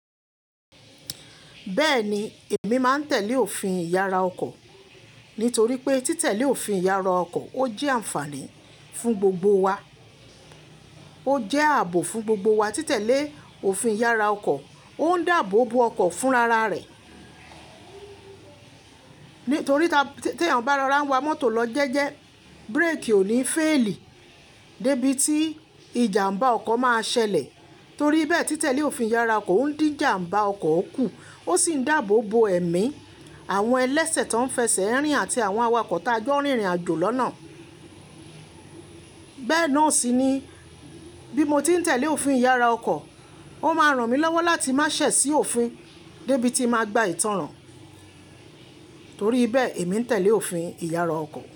Bẹ́ẹ̀ni, èmi máa ń tẹ̀lé òfin ìyára ọkọ̀ nítorí pé títẹ̀lé òfin ìyára ọkọ̀ ó jẹ́ àǹfààní fún gbogbo wa, ó jẹ́ ààbò fún gbogbo wa. Títẹ̀lé òfin ìyára ọkọ̀ ó ń dábò bo ọkọ̀ fún rara rẹ̀ nítorí pé tí èèyàn bá lọ ra ń wa mọ́tò lọ jẹ́ẹ́jẹ́ búrékì ò ní fẹ́ẹ̀lì débí tí ìjàmbá ọkọ̀ máa ṣẹlẹ̀. Torí bẹ́ẹ̀, títẹ̀lé òfin ìyára ọkọ̀ ó ń dín ìjàmbá ọkọ̀ kù, ó sì ń dábò bo ẹ̀mí àwọn ẹlẹ́sẹ̀ tó ń fẹsẹ̀ rìn àti àwọn awakọ̀ tájọ́ rìn ìrìnàjò lọ́nà. Bẹ́ẹ̀ náà sì ni bí mo tí ń tẹ̀lé òfin ìyára ọkọ̀, ó máa ràn mí lọ́wọ́ láti má sẹ̀ sí òfin débí tí màá gba ìtánràn. Torí bẹ́ẹ̀ èmi ń tẹ̀lé òfin ìyára ọkọ̀.